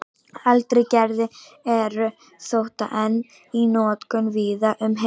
eldri gerðir eru þó enn í notkun víða um heim